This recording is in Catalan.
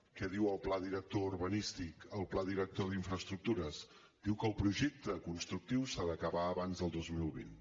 què diu el pla director urbanístic el pla director d’infraestructures diu que el projecte constructiu s’ha d’acabar abans del dos mil vint